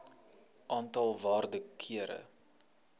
aantal waarde kere